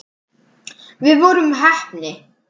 Við vorum heppni.